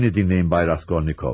Bəni dinləyin, Bay Raskolnikov.